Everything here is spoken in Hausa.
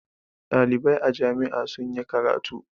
Ɗalibai a jami'a sun yi karatu.